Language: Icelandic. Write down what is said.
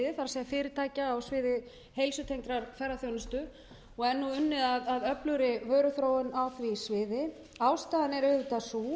er fyrirtækja á sviði heilsutengdrar ferðaþjónustu og er nú unnið að öflugri vöruþróun á því sviði ástæðan er auðvitað sú